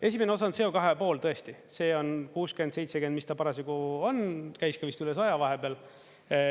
Esimene osa on CO2 pool tõesti, see on 60, 70, mis ta parasjagu on, käis ka vist üle 100 vahepeal.